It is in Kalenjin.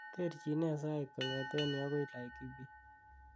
terjin nee sait kong'eten yu agoi laikipia